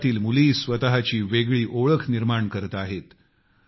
देशातील मुली स्वत ची वेगळी ओळख निर्माण करीत आहेत